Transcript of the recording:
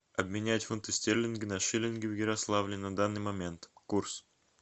обменять фунты стерлинги на шиллинги в ярославле на данный момент курс